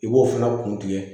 I b'o fana kun tigɛ